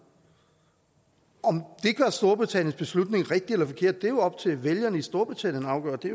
om det storbritanniens beslutning rigtig eller forkert er jo op til vælgerne i storbritannien at afgøre det